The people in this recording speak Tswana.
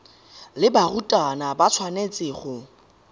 le barutwana ba tshwanetse go